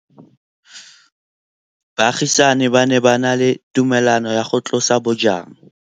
Baagisani ba ne ba na le tumalanô ya go tlosa bojang.